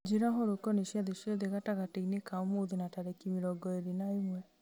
njĩra ũhoro ũkoniĩ ciathĩ ciothe gatagatĩ-inĩ ka ũmũthĩ na tarĩki mĩrongo ĩĩrĩ na ĩmwe